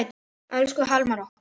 Elsku Hallmar okkar.